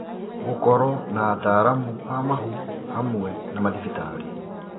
Gũkorwo na ataalamu a mahu hamwe na mathibitarĩ